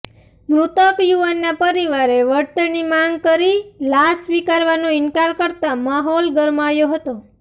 મૃતક યુવકના પરિવારે વળતરની માંગ કરી લાશ સ્વીકારવાનો ઇન્કાર કરતા માહોલ ગરમાયો હતો